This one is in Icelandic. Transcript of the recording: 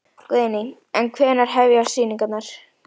Guðný: En hvenær hefjast sýningar?